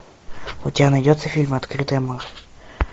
у тебя найдется фильм открытое море